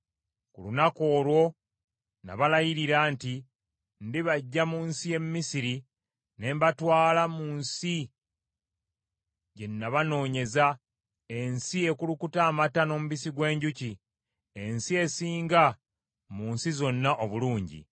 Ku lunaku olwo nabalayirira nti ndibaggya mu nsi y’e Misiri ne mbatwala mu nsi gye nabanoonyeza, ensi ekulukuta amata n’omubisi gw’enjuki, ensi esinga mu nsi zonna obulungi.